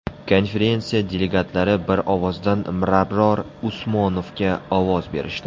Konferensiya delegatlari bir ovozdan Mirabror Usmonovga ovoz berishdi.